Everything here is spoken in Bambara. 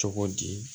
Cogo di